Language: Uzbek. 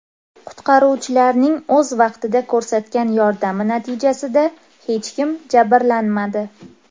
Qutqaruvchilarning o‘z vaqtida ko‘rsatgan yordami natijasida hech kim jabrlanmadi.